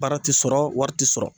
Baara ti sɔrɔ wɔri ti sɔrɔ.